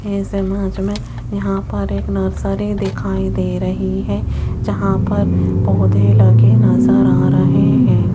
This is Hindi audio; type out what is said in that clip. इस इमेज में में यहां पर एक नर्सरी दिखाई दे रही है जहां पर पौधे लगे नजर आ रहे हैं।